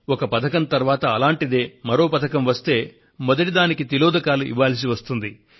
ఒక పథకం తరువాత అటువంటిదే మరో పథకం వస్తే మొదటి దానికి తిలోదకాలు ఇవ్వాల్సి వస్తుంది